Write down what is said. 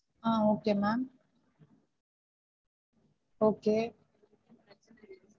ah okay ma'am okay